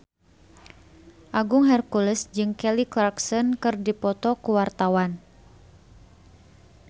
Agung Hercules jeung Kelly Clarkson keur dipoto ku wartawan